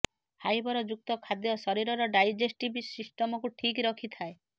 fibre ଯୁକ୍ତ ଖାଦ୍ୟ ଶରୀରର ଡ଼ାଇଜେଷ୍ଟିଭ୍ ସିଷ୍ଟମକୁ ଠିକ୍ ରଖିଥାଏ